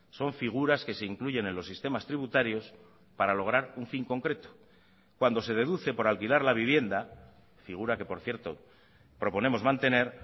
son figuras que se incluyen en los sistemas tributarios para lograr un fin concreto cuando se deduce por alquilar la vivienda figura que por cierto proponemos mantener